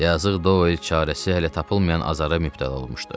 Yazıq Doel çarəsi hələ tapılmayan azara mübtəla olmuşdu.